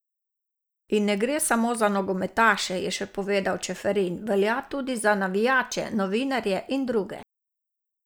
In ne gre samo za nogometaše, je še povedal Čeferin: "Velja tudi za navijače, novinarje in druge.